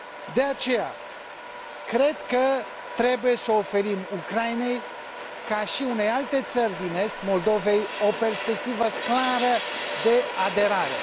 De aceea, cred că trebuie să oferim Ucrainei, ca și unei alte țări din est, Moldovei, o perspectivă clară de aderare.